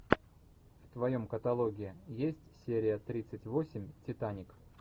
в твоем каталоге есть серия тридцать восемь титаник